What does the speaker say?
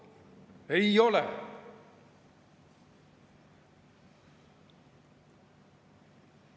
Ei ole!